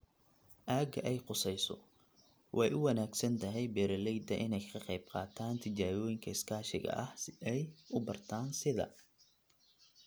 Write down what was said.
aagga ay khusayso. Way u wanaagsan tahay beeralayda inay ka qaybqaataan tijaabooyinka iskaashiga ah si ay u bartaan sida